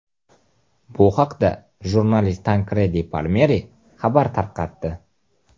Bu haqda jurnalist Tankredi Palmeri xabar tarqatdi .